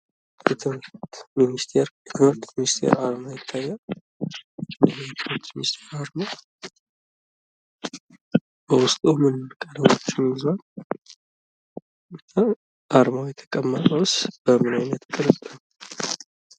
የትምህርት ሚንስቴር አርማ ይታያል። ይህ የትምህርት ሚንስቴር አርማ በውስጡ ምንምን ነገሮችን ይዟል? አርማ የተቀመጠውስ በምን አይነት ቅርጽ ነው?